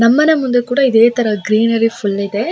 ನಮ್ಮನೆ ಮುಂದೆ ಕೂಡ ಇದೇ ತರ ಗ್ರೀನರಿ ಫುಲ್ಲ್ ಇದೆ.